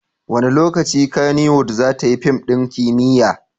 Wane lokaci Kannywood za ta yi fim ɗin kimiyya?